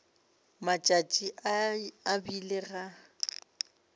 matšatši a e bile ga